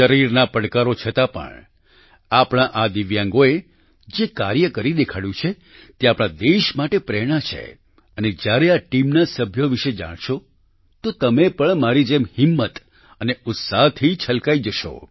શરીરના પડકારો છતાં પણ આપણા આ દિવ્યાંગોએ જે કાર્ય કરી દેખાડ્યું છે તે આખા દેશ માટે પ્રેરણા છે અને જ્યારે આ ટીમના સભ્યો વિશે જાણશો તો તમે પણ મારી જેમ હિંમત અને ઉત્સાહથી છલકાઈ જશો